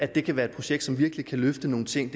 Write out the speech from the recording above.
det kan være et projekt som virkelig kan løfte nogle ting